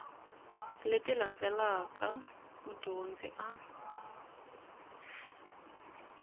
leti landzelaka leti mudyondzi a